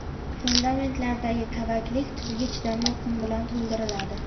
Fundamentlardagi kavaklik tuzga chidamli qum bilan to‘ldiriladi.